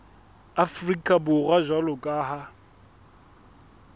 afrika borwa jwalo ka ha